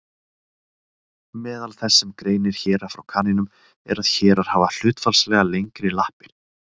Meðal þess sem greinir héra frá kanínum er að hérar hafa hlutfallslega lengri lappir.